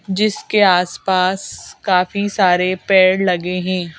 जिसके आसपास काफी सारे पैड लगे हैं।